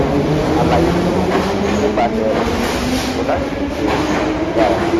alaye ti o pese nipasẹ rẹ ko to lati pese ero to dara